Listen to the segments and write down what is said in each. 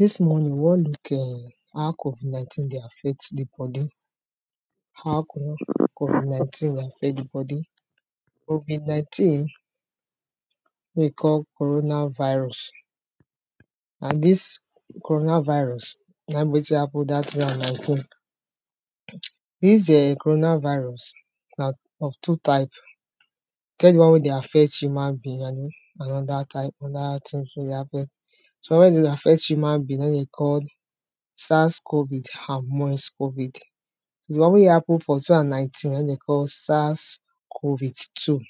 Dis morning we wan look um how covid nineteen dey affect sleep, how covid nineteen dey affect the bodi, covid nineteen wey we call coronavirus and dis coronavirus naim be wetin happen for dat two thousand and nineteen, dis um coronavirus na of two type e get d one wey dey affect human being and and anoda type, wey dey affect human being naim dey call sars covid and covid, d one wey happen for two thousand and nineteen naim dey call sars covid two,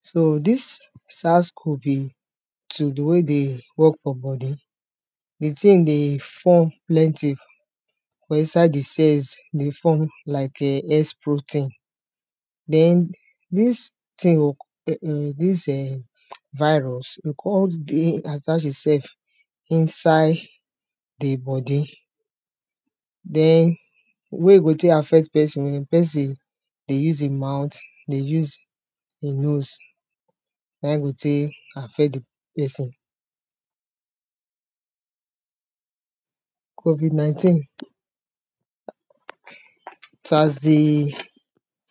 so dis sars covid two de way e dey work for bodi like say ein dey form plenty for inside the cells dey form like um protein, den dis tin dis um virus con dey attach imself inside the bodi den d way e dey take affect peson, wen peson dey use im mouth, dey use im nose naim e dey take affect the peson, covid nineteen as de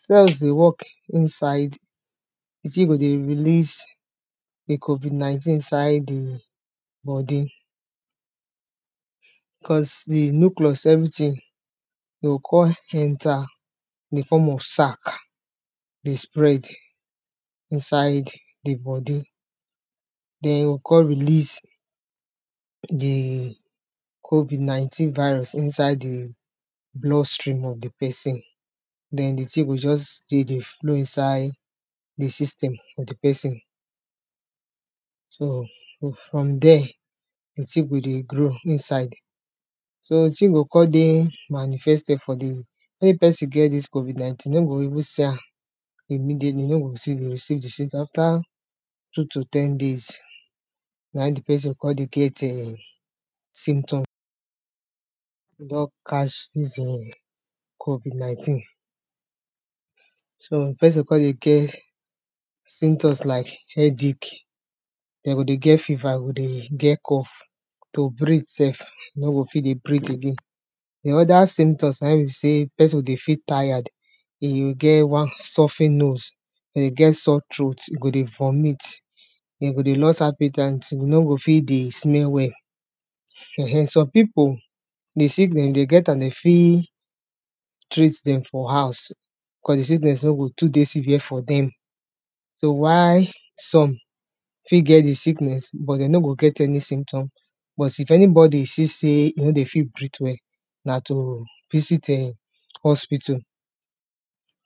cells dey work inside e still go dey release d covid nineteen inside the bodi, cuz d nucleus everything go con enta in form sac dey spread inside d bodi den go con release the covid nineteen virus inside the blood stream of the peson, den d tin go just dey there flow inside the system of d peson so from there d tin go dey grow inside so d tin go con dey manifested for d mey peson get this covid nineteen mey we even see am afta two to ten days naim d peson con dey get [um]symptom covid nineteen so d peson con dey get symptoms like headache e go dey get fever e go dey get cough to breathe self e no go fi dey breathe again, d oda symptoms naim be say peson go fi tired e go get stuffy nose, e go get sore throat, e go dey vomit, less appe ten t, you no go fi dey smell well, um some pipo d sickness dey get am dey fi treat dem for house cuz d symptoms e no to dey severe for them so whi some fi get the sickness but dey no go get any symptom but if anybody see say e no dey fi breathe well na to visit [um[hospital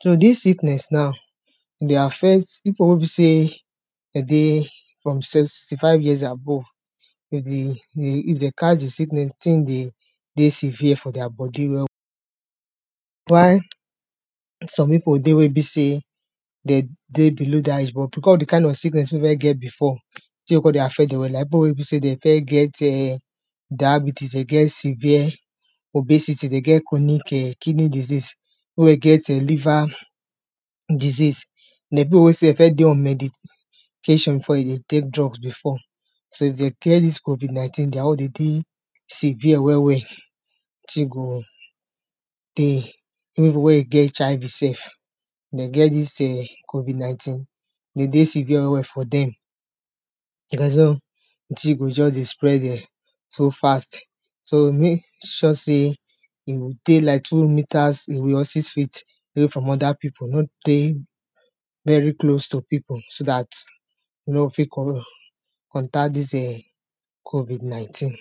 so dis sickness now e dey affect pipo wey be say de dey from seventy five years and above if dey catch d sickness d tin go dey severe for deir bodi well well some pipo dey wey be say den go because of d kind of sickness wey don get before the tin anoda go con dey affect dem dey go first get[um] diabetes, severe obesity, kidney disease, liver disease, take drugs before so dey claim dis covid nineteen deir own e dey severe well well tin go dey den get this covid nineteen e dey severe well well for dem d tin go jus dey spread um well well so fast so make sure sey six feet away from oda pipo no dey very close to pipo so dat you no go fi collec am, contact this um covid nineteen.